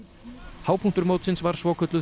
hápunktur mótsins var svokölluð